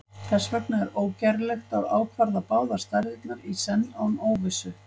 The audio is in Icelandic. þess vegna er ógerlegt að ákvarða báðar stærðirnar í senn án óvissu